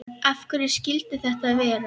Af hverju skyldi þetta vera?